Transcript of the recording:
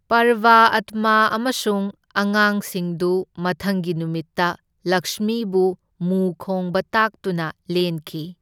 ꯄꯔꯕꯑꯥꯇꯃꯥ ꯑꯃꯁꯨꯡ ꯑꯉꯥꯡꯁꯤꯡꯗꯨ ꯃꯊꯪꯒꯤ ꯅꯨꯃꯤꯠꯇ ꯂꯛꯁꯃꯤꯕꯨ ꯃꯨ ꯈꯣꯡꯕ ꯇꯥꯛꯇꯨꯅ ꯂꯦꯟꯈꯤ꯫